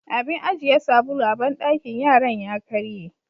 Abin ajiye sabulu a banɗakin yaran ya karye.